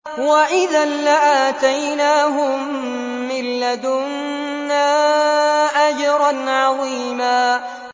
وَإِذًا لَّآتَيْنَاهُم مِّن لَّدُنَّا أَجْرًا عَظِيمًا